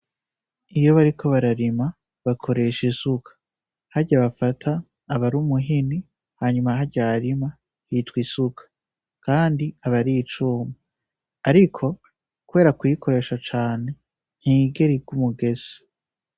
Iyo bariko bararima bakoresha isuka harya bafata aba ari umuhini hanyuma harya harima hitwa isuka kandi aba ari icuma ariko kubera kurikoresha cane ntiyigera igwa umugese.